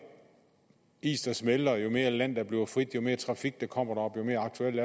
is der smelter jo mere land der bliver frit jo mere trafik der kommer deroppe jo mere aktuelt